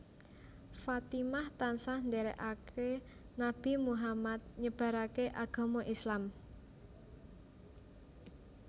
Fatimah tansah ndèrèkaké Nabi Muhammad nyebaraké agama Islam